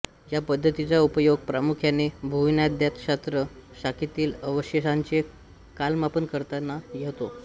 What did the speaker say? या पद्धतीचा उपयोग प्रामुख्याने भूविज्ञानशास्त्र शाखेतील अवशेषांचे कालमापन करताना होतो